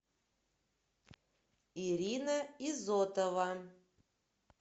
ирина изотова